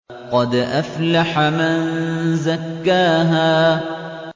قَدْ أَفْلَحَ مَن زَكَّاهَا